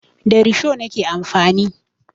Da risho nake amfani.